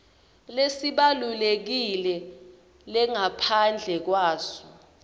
lesibalulekile lengaphandle kwaso